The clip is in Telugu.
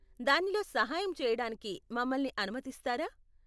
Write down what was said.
దానిలో సహాయం చెయ్యడానికి మమల్ని అనుమతిస్తారా?